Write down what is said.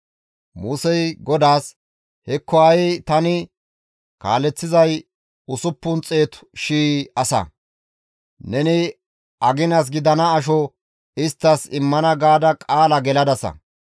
Musey GODAAS, «Hekko ha7i tani kaaleththizay usuppun xeetu shii asa; ‹Neni aginas gidana asho isttas immana› gaada qaala geladasa.